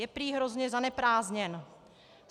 Je prý hrozně zaneprázdněn.